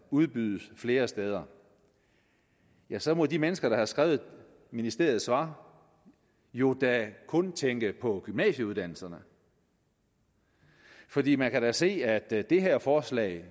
udbydes flere steder ja så må de mennesker der har skrevet ministeriets svar jo da kun tænke på gymnasieuddannelserne fordi man kan da se at det her forslag